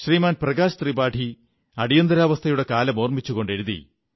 ശ്രീമാൻ പ്രകാശ് ത്രിപാഠി അടിയന്തരാവസ്ഥയുടെ കാലം ഓർമ്മിച്ചുകൊണ്ട് എഴുതി